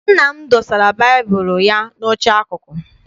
Nna m dosara baịbụl ụ ya n'oche akụkụ.